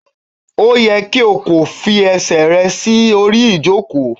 O yẹ ki o ko fi ẹsẹ rẹ si ori ijoko!